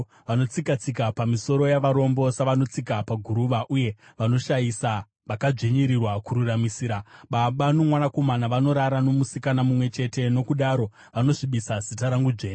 Vanotsika-tsika pamisoro yavarombo savanotsika paguruva, uye vanoshayisa vakadzvinyirirwa kururamisirwa. Baba nomwanakomana vanorara nomusikana mumwe chete, nokudaro vanosvibisa zita rangu dzvene.